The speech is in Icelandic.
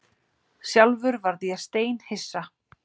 Sjálfur varð ég steinhissa